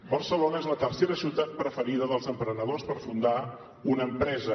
barcelona és la tercera ciutat preferida dels emprenedors per fundar una empresa